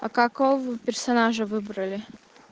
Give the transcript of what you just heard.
а какого вы персонажа выбрали